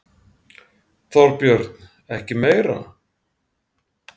Þorbjörn: Ekki meira?